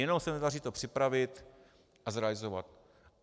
Jenom se nedaří to připravit a zrealizovat.